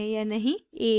> a